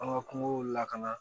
An ka kungo lakana